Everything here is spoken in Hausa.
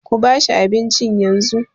Kuba shi abincin yanzu.